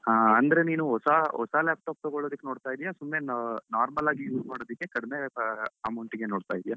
ಅಂದ್ರೆ ನೀನು ಹೊಸ ಹೊಸ laptop ತಗೋಳೋದಕ್ಕೆ ನೋಡ್ತಿದ್ಯಾ ಸುಮ್ನೆ normal ಆಗಿ use ಮಾಡೋದಕ್ಕೆ ಕಡಿಮೆ amount ಗೆ ನೋಡ್ತಾ ಇದ್ದೀಯಾ?